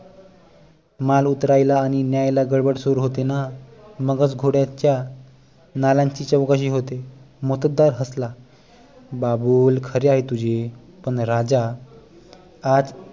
माल उतरायला आणि न्यायला गडबड सुरू होते ना मगच घोड्यांच्या नालांची चौकशी होते मोत्तद्दार हसला बाबूल खरे आहे तुझे पण राजा आज